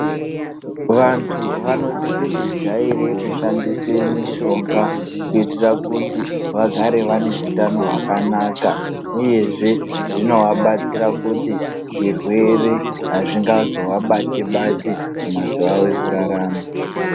Vantu vanosisa kujaira kushandisa mishonga kuitira kuti vagare vane hutano hwakanaka uyezve zvinovabatsira kuti zvirwere azvingazovabati bati mumazuva avo ekurarama.